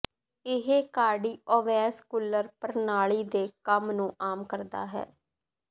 ਇਹ ਕਾਰਡੀਓਵੈਸਕੁਲਰ ਪ੍ਰਣਾਲੀ ਦੇ ਕੰਮ ਨੂੰ ਆਮ ਕਰਦਾ ਹੈ